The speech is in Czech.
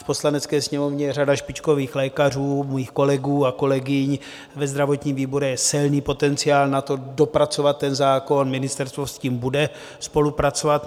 V Poslanecké sněmovně je řada špičkových lékařů, mých kolegů a kolegyň, ve zdravotním výboru je silný potenciál na to dopracovat ten zákon, ministerstvo s tím bude spolupracovat.